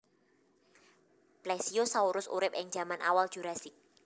Plesiosaurus urip ing jaman awal Jurassik